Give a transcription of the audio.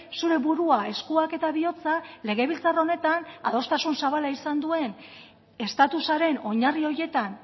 zure burua eskuak eta bihotza legebiltzar honetan adostasun zabala izan duen estatusaren oinarri horietan